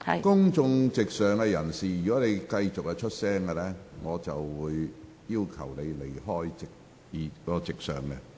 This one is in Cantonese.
公眾席上的人士，如果你們繼續發出聲音，我會要求你們離開公眾席。